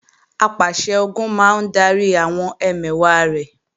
Apàṣẹ-Ogun máa ń darí àwọn ẹmẹ̀wà rẹ̀